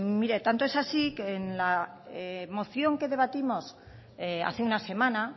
mire tanto es así que en la moción que debatimos hace una semana